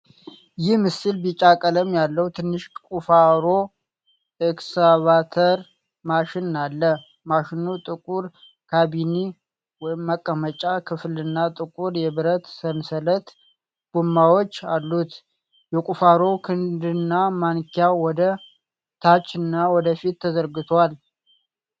ይህ ምስል ቢጫ ቀለም ያለው ትንሽ ቁፋሮ/ኤክስካቫተር ማሽን አለ። ማሽኑ ጥቁር ካቢኔ/መቀመጫ ክፍልና ጥቁር የብረት ሰንሰለት ጎማዎች አሉት። የቁፋሮው ክንድና ማንኪያ ወደ ታችና ወደፊት ተዘርግተዎል።